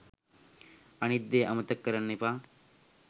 අනිත් දේ අමතක කරන්න එපා